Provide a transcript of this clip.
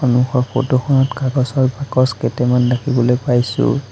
সন্মুখৰ ফটোখনত কাগজৰ বাকচ কেইটামান দেখিবলৈ পাইছোঁ।